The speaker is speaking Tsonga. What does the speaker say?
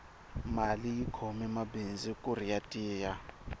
mali yi khome mabindzu kuri ya tiya